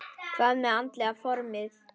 Hvað með andlega formið?